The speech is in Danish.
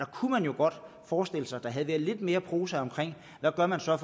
kunne man jo godt forestille sig at der havde været lidt mere prosa omkring hvad man så